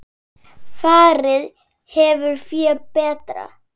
Farið hefur fé betra.